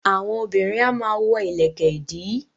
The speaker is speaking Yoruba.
Àwọn obìnrin a máa wọ ìlẹ̀kẹ̀ ìdí